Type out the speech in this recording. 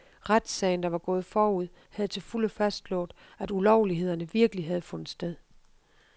Retssagen, der var gået forud, havde til fulde fastslået, at ulovlighederne virkelig havde fundet sted.